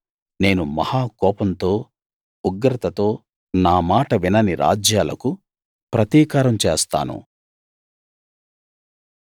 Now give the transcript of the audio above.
నేను మహా కోపంతో ఉగ్రతతో నా మాట వినని రాజ్యాలకు ప్రతీకారం చేస్తాను